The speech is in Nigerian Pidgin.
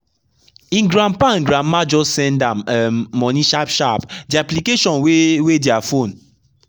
him grandpa and grandma just send am um money sharp sharp the application wey wey their phone.